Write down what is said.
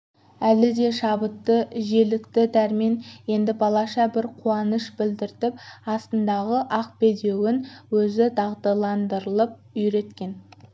әлі де шабытты желікті дәрмен енді балаша бір қуаныш білдіріп астындағы ақ бедеуін өзі дағдыландырып үйреткен